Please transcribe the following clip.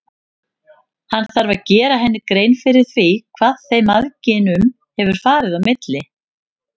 Hann þarf að gera henni grein fyrir því hvað þeim mæðginum hefur farið á milli.